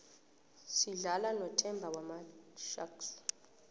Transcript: sidlala nothemba wamasharks